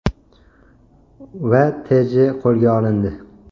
va T.J. qo‘lga olindi.